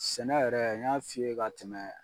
Sɛnɛ yɛrɛ n y'a f'i ye ka tɛmɛ